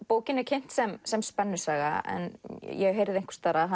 bókin er kynnt sem sem spennusaga en ég heyrði einhvers staðar að